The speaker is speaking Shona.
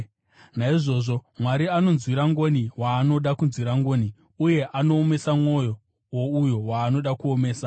Naizvozvo Mwari anonzwira ngoni waanoda kunzwira ngoni, uye anoomesa mwoyo wouyo waanoda kuomesa.